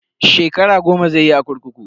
Shekara goma zai yi a kurkuku.